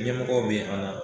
Ɲɛmɔgɔw be an na